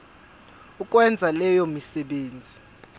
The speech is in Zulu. ukwenza leyo misebenzi